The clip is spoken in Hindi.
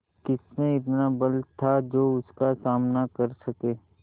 किसमें इतना बल था जो उसका सामना कर सके